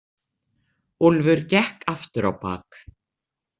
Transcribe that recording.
Úlfur gekk aftur á bak.